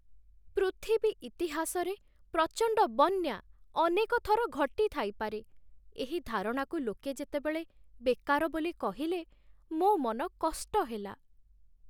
ପୃଥିବୀ ଇତିହାସରେ ପ୍ରଚଣ୍ଡ ବନ୍ୟା ଅନେକ ଥର ଘଟିଥାଇପାରେ, ଏହି ଧାରଣାକୁ ଲୋକେ ଯେତେବେଳେ ବେକାର ବୋଲି କହିଲେ, ମୋ ମନ କଷ୍ଟ ହେଲା।